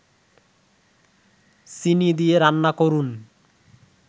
চিনি দিয়ে রান্না করুন